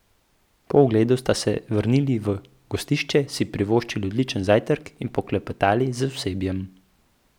Po ogledu sta se vrnili v gostišče, si privoščili odličen zajtrk in poklepetali z osebjem.